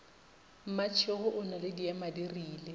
mmatšhego o na le diemadirile